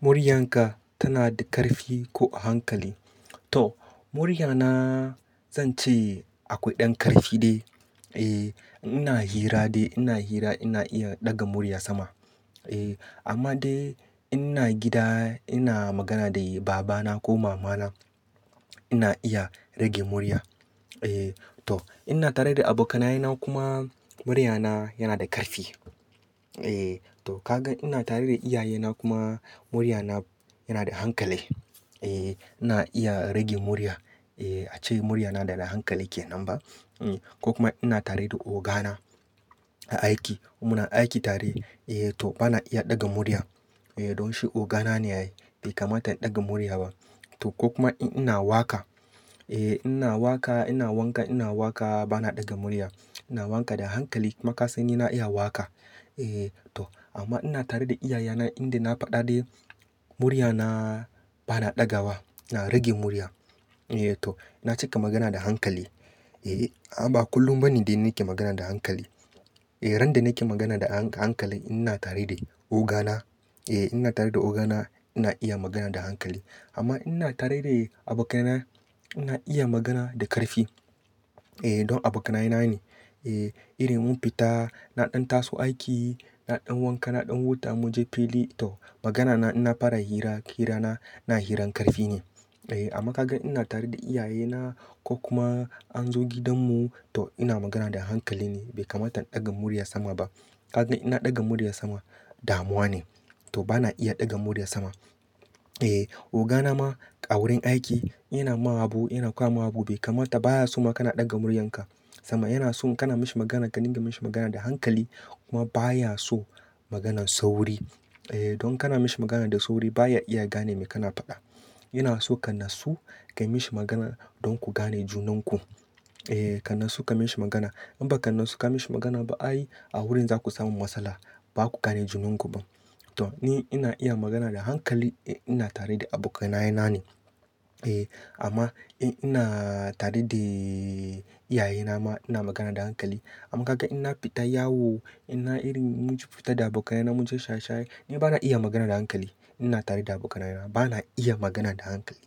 Muryanka tana da ƙarfi ko a hankali? To, muryana zan ce akwai ɗan ƙarfi dai. E, ina hira dai ina hira ina iya ɗaga murya sama. E, amma dai ina gida ina magana da baba na ko mama na ina iya rage murya. E, to ina tare da abokanaye na kuma muryana yana da ƙarfi. E, to kaga ina tare da iyaye na kuma muryana yana da hankali. E, ina iya rage murya. E, ace muryana da na hankali kenan ba? Ko kuma ina tare da ogana a aiki mu na aiki tare. E, to bana iya ɗaga murya. E, don shi ogana ne yayi bai kamata in ɗaga murya ba. To ko kuma in ina waƙa. E, ina waƙa ina wanka ina waka bana ɗaga murya. Ina waƙa da hankali kuma ka san ni na iya waƙa. E, to amma ina tare da iyaye na inda na faɗa dai muryana bana ɗaga wa. Na rage murya. E, to na cika magana da hankali. E, amma ba kullum bane dai nake magana da hankali. E, ran da nake magana da hankali ina tare da ogana. E, ina tare da ogana ina iya magana da hankali. Amma in ina tare da abokanai na ina iya magana da ƙarfi. E, don abokanaye na ne. E, irin mun fita na ɗan taso aiki, na ɗan wanka, na ɗan huta in mun je fili. To magana na ina fara hira, hira na, na hirar ƙarfi ne. E, amma ka gan ina tare da iyaye na ko kuma an zo gidanmu to ina magana da hankali ne bai kamata in ɗaga murya sama ba. Ka gan ina ɗaga murya sama damuwa ne. To bana iya ɗaga murya sama. E, ogana ma a wurin aiki in yana ma abu in yana koya ma abu bai kamata baya so ma kana ɗaga muryanka sama. Yana so kana mishi magana ka dinga mishi magana da hankali kuma baya so maganan sauri. E, don kana mishi magana da sauri baya iya gane me kana faɗa. Yana so ka natsu kayi mishi magana don ku gane junanku. E, ka natsu ka mishi magana in ba ka natsu ka mishi magana ba ai a wurin za ku samu matsala ba ku gane junanku ba. To ni ina iya magana da hankali ina tare da abokanaye na ne. E, amma in ina tare da iyaye na ma ina magana da hankali. Amma kaga in na fita yawo ina irin mun ci fita da abokanaye na mun je shaye-shaye ni bana iya magana da hankali ina tare da abokanaye na bana iya magana da hankali.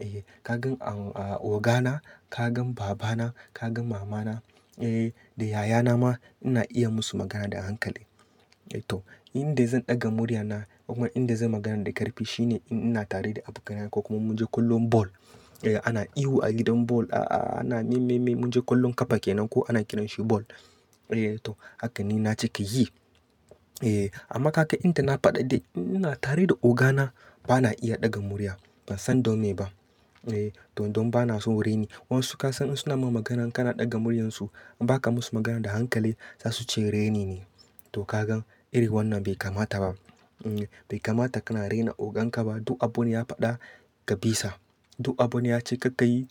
E, ka gan a-a ogana, ka gan babana, ka gan mamana, e, da yayana ma ina iya musu magana da hankali. E, to inda zan ɗaga muryana kuma inda zan magana da ƙarfi shine in ina tare da abokanaye na ko kuma mun je kallon ball. E, ana ihu a gidan ball a-a ana mimmi-mimmi mun je ƙwallon ƙafa kenan ko ana kiran shi ball. E, to haka ni na cika yi. E, amma ka gan inda na faɗa dai ina tare da ogana bana iya ɗaga murya. Ban san don me ba. E, don don bana son raini. Wasu ka san in suna mun magana kana ɗaga muryansu in ba ka musu magana da hankali za su ce raini ne. To ka gan iri wannan bai kamata ba. Hmm, bai kamata kana raina ogan ka ba duk abu ne ya faɗa kabisa. Duk abu ne ya ce ka ka yi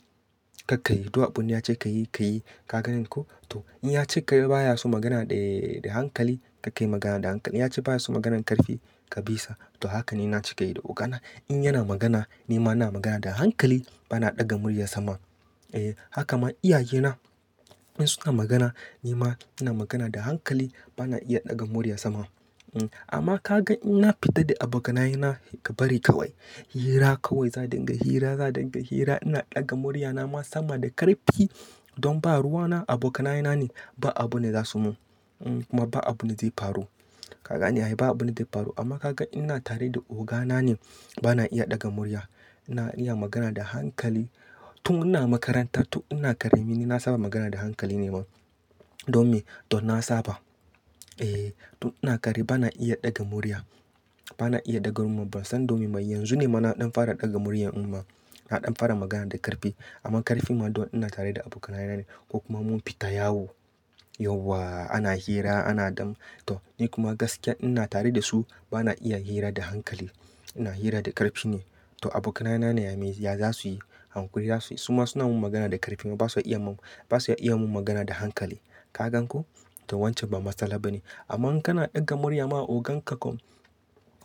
ka ka yi duk abu ne ya ce ka yi ka yi. Kagane ko? To in ya ce ka yi baya so magana dai da hankali ka kai magana da hankali. Ya ce baya so maganan ƙarfi kabisa. To haka ni na cika yi da ogana. In yana magana ni ma ina magana da hankali bana ɗaga murya sama. E, haka ma iyaye na in suna magana ni ma ina magana da hankali bana iya ɗaga murya sama. Hmm, amma ka gan ina fita da abokanaye na bari kawai, hira kawai za dinga hira za dinga hira ina ɗaga muryana ma sama da ƙarfi don ba ruwa na abokanaye na ne ba abu ne za su mun. Hmm kuma ba abunda zai faru. Kagane ai ba abu ne zai faru. Amma ka gan ina tare da ogana ne bana iya ɗaga murya. Ina iya magana da hankali tun ina makarantar tun ina ƙarami ni na saba magana da hankali ne ma. Don me? Don na saba. E, tun ina ƙarami bana iya ɗaga murya. Bana iya ɗaga murya ban san dome mai. Yanzu ne mana ɗan fara ɗaga murya an ma na ɗan fara magana da ƙarfi. Amma ƙarfi ma don ina tare da abokanaye na ne ko kuma mun fita yawo. Yauwa ana hira ana ɗan to ni kuma gaskiya ina tare da su bana iya hira da hankali. Ina hira da ƙarfi ne. To abokanaye na ne ya me ya za su yi? Hanƙuri za su yi. Su ma suna mun magana da ƙarfi ma ba su iya mun, ba su iya mun magana da hankali. Ka gan ko? To wancan ba matsala ba ne. Amma in kana ɗaga murya ma ogan ka ko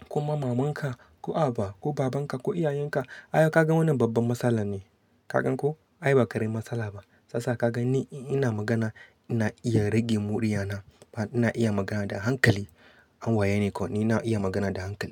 kuma maman ka ko haba? Ko baban ka ko iyayen ka ai ka gan wannan babban matsala ne. Ka gan ko? Ai ba ƙarin matsala ba. Shiyasa ka gan ni ina magana ina iya rage murya na. Ina iya magana da hankali. An waye ni ko? Ni na iya magana da hankali.